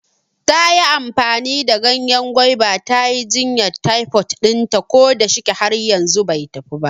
Tayi amfani da ganyen gwaiba ta yi jinyan taifod ɗinta, ko da shike har yanzu bai tafi ba